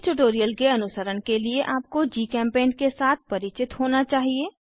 इस ट्यूटोरियल के अनुसरण के लिए आपको जीचेम्पेंट के साथ परिचित होना चाहिए